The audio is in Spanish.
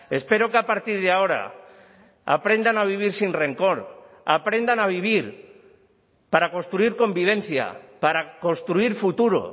espero que a partir de ahora aprendan a vivir sin rencor aprendan a vivir para construir convivencia para construir futuro